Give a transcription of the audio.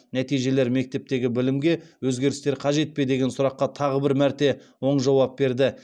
нәтижелер мектептегі білімге өзгерістер қажет пе деген сұраққа тағы бір мәрте оң жауап берді